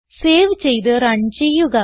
save ചെയ്ത് run ചെയ്യുക